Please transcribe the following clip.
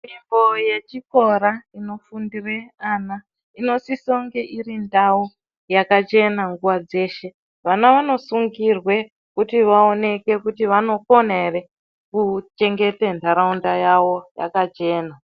Nzvimbo yevhikora inofundira vana inosisa kunge iri ndau yakachena nguwa dzeshe vana vanosungirwa kuti vaoneke kuti vanokona ere kuchengeta nharaunda yawo yakachena.